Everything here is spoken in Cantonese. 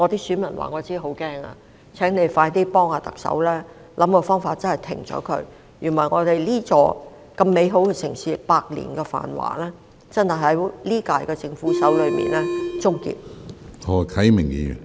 司長，請你快快幫忙特首，想個辦法停止這情況，否則，我們這座美好城市的百年繁華，便真的會在今屆政府手中終結。